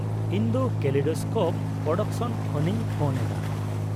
-ᱤᱧ ᱫᱚ kaleidoscope production ᱠᱷᱚᱱᱤᱧ ᱯᱷᱳᱱ ᱮᱫᱟ ᱾